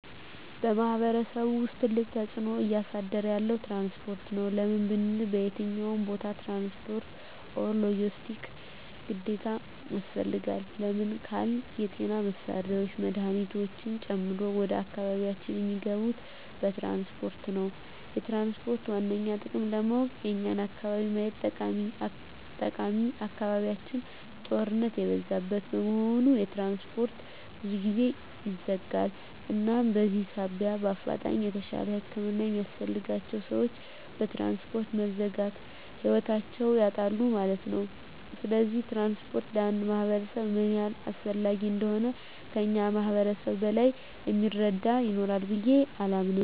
በማሕበረሰቡ ውስጥ ትልቅ ተፅዕኖ እያሳደረ ያለዉ ትራንስፖርት ነዉ። ለምን ብንል በየትኛዉም ቦታ ትራንስፖርት(ሎጀስቲክስ) ግዴታ ያስፈልጋል። ለምን ካልን የጤና መሳሪያወች መድሀኒቶችን ጨምሮ ወደ አካባቢያችን እሚገቡት በትራንስፖርት ነዉ። የትራንስፖርትን ዋነኛ ጥቅም ለማወቅ የኛን አካባቢ ማየት ጠቃሚ አካባቢያችን ጦርነት የበዛበት በመሆኑ ትራንስፖርት ብዙ ጊዜ ይዘጋል እናም በዚህ ሳቢያ በአፋጣኝ የተሻለ ህክምና የሚያስፈልጋቸዉ ሰወች በትራንስፖርት መዘጋት ህይወታቸዉን ያጣሉ ማለት ነዉ። ስለዚህ ትራንስፖርት ለአንድ ማህበረሰብ ምን ያህል አስፈላጊ እንደሆነ ከእኛ ማህበረሰብ በላይ እሚረዳ ይኖራል ብየ አላምንም።